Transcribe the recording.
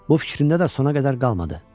Bu fikrində də sona qədər qalmadı.